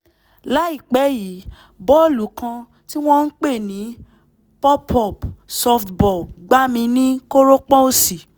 láìpẹ́ yìí bọ́ọ̀lù kan tí wọ́n ń pè ní pop-up softball gbá mi ní kórópọ̀n òsì